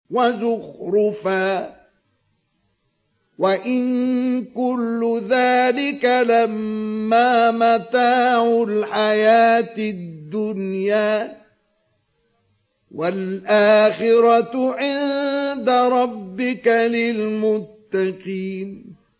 وَزُخْرُفًا ۚ وَإِن كُلُّ ذَٰلِكَ لَمَّا مَتَاعُ الْحَيَاةِ الدُّنْيَا ۚ وَالْآخِرَةُ عِندَ رَبِّكَ لِلْمُتَّقِينَ